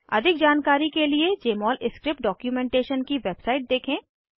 अधिक जानकारी के लिए जमोल स्क्रिप्ट डॉक्युमेंटेशन की वेबसाइट देखें